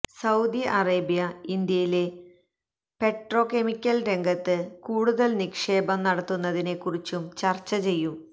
Saudi Arabia ഇന്ത്യയിലെ petrochemical രംഗത്ത് കൂടുതല് നിക്ഷേപം നടത്തുന്നതിനെ കുറിച്ചും ചര്ച്ച ചെയ്യും